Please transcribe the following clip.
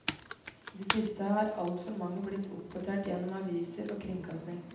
I det siste har alt for mange blitt oppdatert gjennom aviser og kringkasting.